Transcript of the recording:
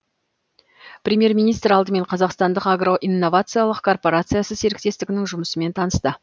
премьер министр алдымен қазақстандық агро инновациялық корпорациясы серіктестігінің жұмысымен танысты